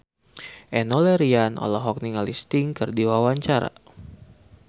Enno Lerian olohok ningali Sting keur diwawancara